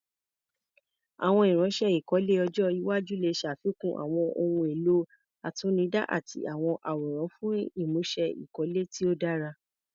Àwọn irinṣẹ́ ìkọ́lé ọjọ́ iwájú lè ṣàfikún àwọn ohun èlò àtinúdá àti àwọn àwòrán fún ìmúṣe ìkọ́lé tí ó dára.